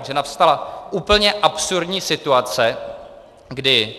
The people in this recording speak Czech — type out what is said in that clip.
Takže nastala úplně absurdní situace, kdy